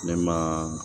Ne ma